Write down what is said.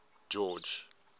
george